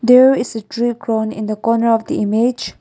here is a tree grown in the corner of the image.